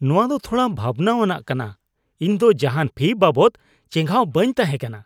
ᱱᱚᱶᱟ ᱫᱚ ᱛᱷᱚᱲᱟ ᱵᱷᱟᱵᱱᱟᱣᱟᱜ ᱠᱟᱱᱟ ᱾ ᱤᱧ ᱫᱚ ᱡᱟᱦᱟᱱ ᱯᱷᱤ ᱵᱟᱵᱚᱫ ᱪᱮᱸᱜᱷᱟᱣ ᱵᱟᱹᱧ ᱛᱟᱦᱮᱸ ᱠᱟᱱᱟ ᱾